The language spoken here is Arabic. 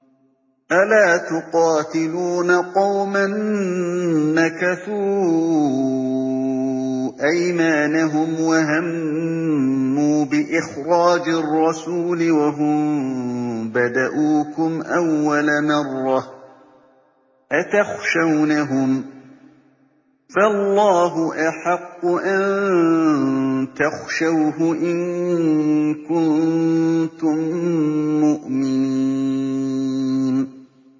أَلَا تُقَاتِلُونَ قَوْمًا نَّكَثُوا أَيْمَانَهُمْ وَهَمُّوا بِإِخْرَاجِ الرَّسُولِ وَهُم بَدَءُوكُمْ أَوَّلَ مَرَّةٍ ۚ أَتَخْشَوْنَهُمْ ۚ فَاللَّهُ أَحَقُّ أَن تَخْشَوْهُ إِن كُنتُم مُّؤْمِنِينَ